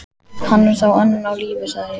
Hann er þá enn á lífi sagði ég.